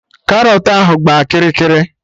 Karọt ahụ gbaa kịrị kịrị